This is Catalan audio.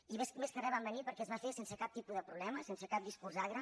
i més que res van venir perquè es va fer sense cap tipus de problema sense cap discurs agre